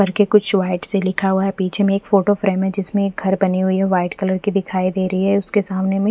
घर के कुछ वाइट से लिखा हुआ है पीछे में एक फोटो फ्रेम है जिसमे एक घर बनी हुई है वाइट कलर की दिखाई दे रही है उसके सामने में--